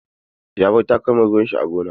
Ya bar takalman ruwan sa a gona.